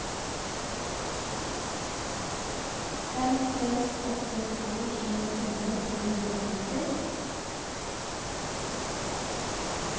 fem seks åtte to tjuefire tre hundre og femti